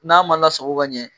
N'a ma lasago ka ɲɛ